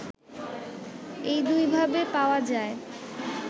এই দুইভাবে পাওয়া যায়